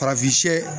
Farafin